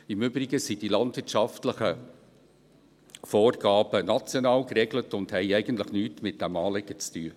Im Übrigen sind die landwirtschaftlichen Vorgaben national geregelt und haben eigentlich nichts mit diesem Anliegen zu tun.